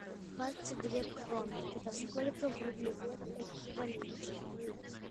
двадцать две кроны это сколько в рублевом эквиваленте